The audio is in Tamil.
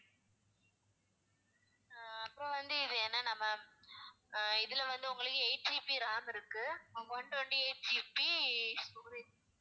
ஆஹ் அப்புறம் வந்து இது என்னென்னா ma'am அஹ் இதுல வந்து உங்களுக்கு eight GB ram இருக்கு one twenty-eight GB storage